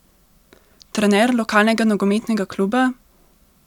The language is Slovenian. Trener lokalnega nogometnega kluba?